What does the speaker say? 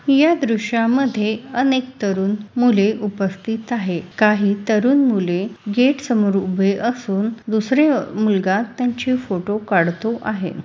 या दृश्या मध्ये अनेक तरुण मूले उपस्थित आहे काही तरुण मुले गेट समोर उभे असून दुसरे मुलगा त्यांची फोटो काढतो आहे.